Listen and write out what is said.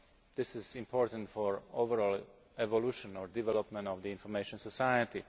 This is important for the overall evolution, or development, of the information society.